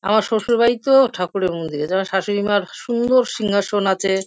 আমার স্বশুর বাড়িতেও ঠাকুরের মন্দির আছে। আমার শ্বাশুড়ি মার সুন্দর সিংহাসন আছে ।